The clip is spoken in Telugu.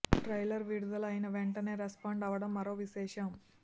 ట్రైలర్ విడుదల అయిన వెంటనే రెస్పాండ్ అవ్వడం మరో విశేషం